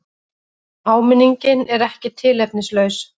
Áminningin er ekki tilefnislaus.